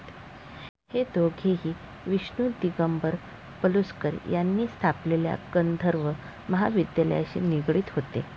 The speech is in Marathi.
हे दोघेही विष्णू दिगंबर पलुस्कर यांनी स्थापलेल्या गांधर्व महाविद्यालयाशी निगडीत होते.